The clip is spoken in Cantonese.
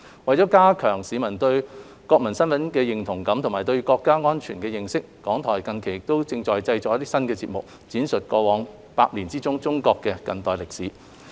為加強市民對國民身份的認同感及對國家安全的認識，港台近期正製作新節目，闡述過去百年的中國近代歷史。